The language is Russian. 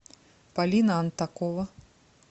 полина антакова